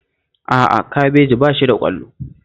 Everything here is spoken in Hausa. A'a, kabeji ba shi da ƙwallo